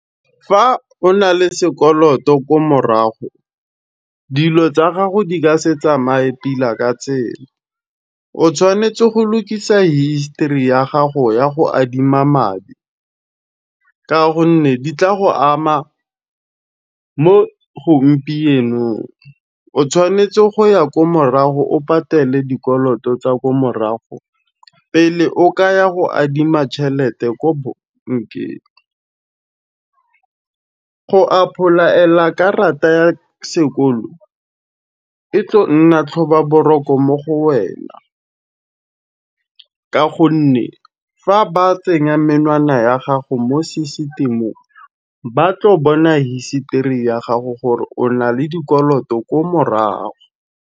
Fa o na le sekoloto ko morago, dilo tsa gago di ka se tsamae pila ka tsela. O tshwanetse go lukisa history ya gago ya go adima madi ka gonne di tla go ama mo gompienong. O tshwanetse go ya ko morago o patele dikoloto tsa ko morago pele o ka ya go adima tšhelete ko bankeng. Go apolaela ka rata ya sekolo, e tlo nna tlhoba-boroko mo go wena ka gonne fa ba tsenya menwana ya gago mo sesitemong, ba tlo bona history ya gago gore o na le dikoloto ko morago.